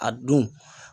A don